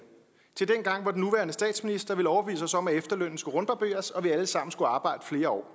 til dengang hvor den nuværende statsminister ville overbevise os om at efterlønnen skulle rundbarberes og vi alle sammen skulle arbejde flere år